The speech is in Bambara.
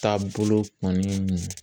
Taabolo kɔni